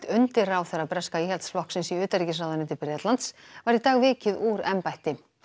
undirráðherra breska Íhaldsflokksins í utanríkisráðuneyti Bretlands var í dag vikið úr embætti